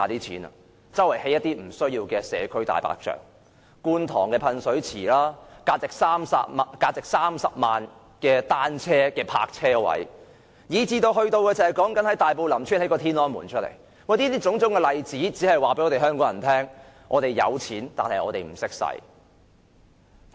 便是四處興建不必要的社區"大白象"，例如觀塘的噴水池、價值30萬元的單車泊車位，以至在大埔林村興建"天安門"，種種例子在在告訴香港人，我們有錢，但我們不懂如何運用。